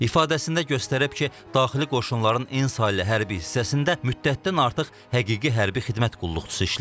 İfadəzində göstərib ki, daxili qoşunların N saylı hərbi hissəsində müddətdən artıq həqiqi hərbi xidmət qulluqçusu işləyib.